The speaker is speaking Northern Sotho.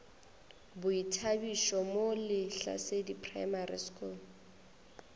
boithabišo mo lehlasedi primary school